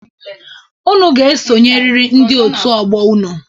Unu ga-esonyeriri ndị òtù ọgbọ unu.